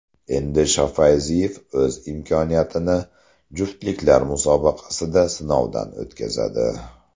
Endi Shofayziyev o‘z imkoniyatini juftliklar musobaqasida sinovdan o‘tkazadi.